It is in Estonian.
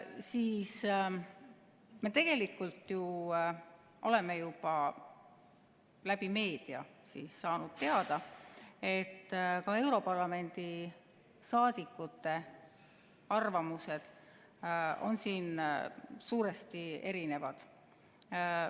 Me tegelikult oleme ju juba läbi meedia saanud teada, et ka europarlamendi liikmete arvamused on siin suuresti erinevad.